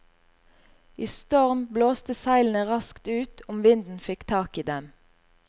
I storm blåste seilene raskt ut om vinden fikk tak i dem.